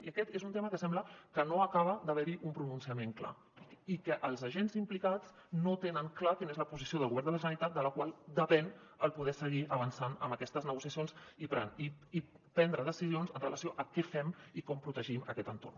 i aquest és un tema que sembla que no acaba d’haver·hi un pronunciament clar i els agents implicats no tenen clara quina és la posició del govern de la generalitat de la qual depèn poder seguir avançant en aquestes negociacions i prendre decisions amb relació a què fem i com protegim aquest entorn